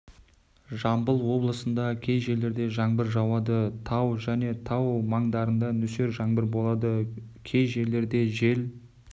жамбыл облысында кей жерлерде жаңбыр жауады тау және тау маңдарында нөсер жаңбыр болады кей жерлерде жел